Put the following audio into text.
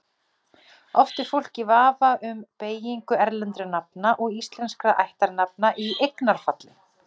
Oft er fólk í vafa um beygingu erlendra nafna og íslenskra ættarnafna í eignarfalli.